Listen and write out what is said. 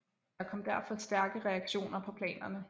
Der kom derfor stærke reaktioner på planerne